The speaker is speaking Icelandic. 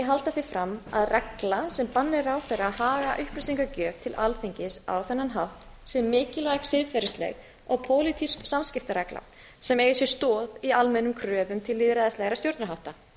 halda því fram að regla sem banni ráðherra að haga upplýsingagjöf sinni til alþingis á þennan hátt sé mikilvæg siðferðisleg og pólitísk samskiptaregla sem eigi sér stoð í almennum kröfum til lýðræðislegra stjórnarhátta